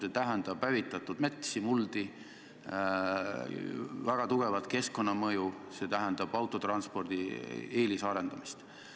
See tähendab hävitatud metsi, muldi, väga tugevat keskkonnamõju, see tähendab autotranspordi eelisarendamist.